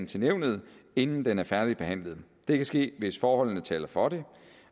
til nævnet inden den er færdigbehandlet det kan ske hvis forholdene taler for det